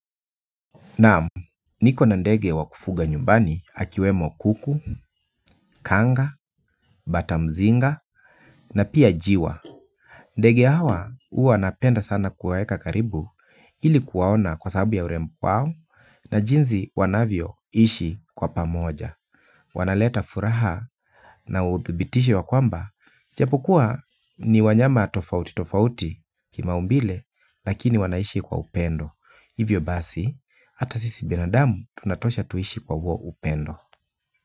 Naam, niko na ndege wa kufuga nyumbani akiwemo kuku, kanga, batamzinga, na pia jiwa. Ndege hawa huwa napenda sana kuwaeka karibu, ili kuwaona kwa sababu ya urembo wao, na jinsi wanavyoishi kwa pamoja. Wanaleta furaha na uthibitisho ya kwamba, japokuwa ni wanyama tofauti tofauti kimaumbile, lakini wanaishi kwa upendo. Hivyo basi, ata sisi binadamu tunatosha tuishi kwa huo upendo.